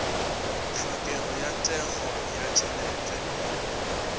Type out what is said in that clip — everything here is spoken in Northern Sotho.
tlhokego ya thekgo ya tšhelete